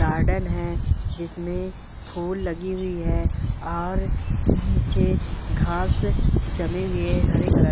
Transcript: garden है जिसमे फूल लगी हुई है और नीचे घांस जमें हुए है हरे कलर --